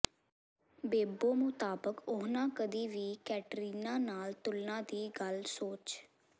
ਬੇਬੋ ਮੁਤਾਬਕ ਉਨ੍ਹਾਂ ਕਦੀ ਵੀ ਕੈਟਰੀਨਾ ਨਾਲ ਤੁਲਨਾ ਦੀ ਗੱਲ ਸੋਚ